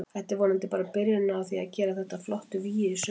Þetta er vonandi bara byrjunin á því að gera þetta að flottu vígi í sumar.